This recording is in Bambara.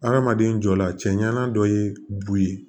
Hadamaden jɔ la cɛ ɲana dɔ ye bu ye